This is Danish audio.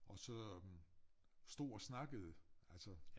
Og så øh stod og snakkede altså